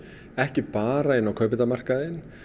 ekki bara inn á kaupendamarkaðinn